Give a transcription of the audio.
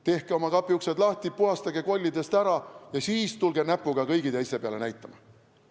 Tehke oma kapiuksed lahti, puhastage kollidest ära ja siis tulge näpuga kõigi teiste peale näitama!